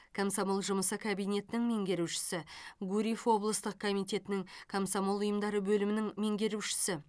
комсомол жұмысы кабинетінің меңгерушісі гурьев облыстық комитетінің комсомол ұйымдары бөлімінің меңгерушісі